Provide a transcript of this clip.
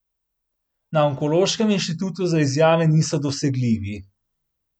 Na Onkološkem inštitutu za izjave niso dosegljivi.